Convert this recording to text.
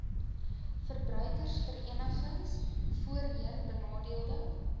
verbruikersverenigings voorheen benadeelde